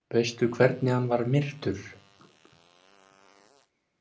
Veistu hvernig hann var myrtur?